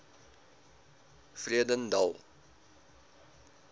vredendal